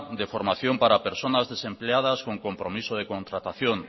de formación para personas desempleadas con compromiso de contratación